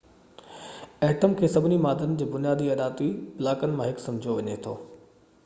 atom کي سڀني مادن جي بنيادي اڏاوتي بلاڪن مان هڪ سمجهيو وڃي ٿو